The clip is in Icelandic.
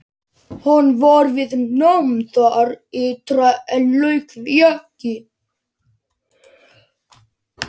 Hann var við nám þar ytra en lauk því ekki.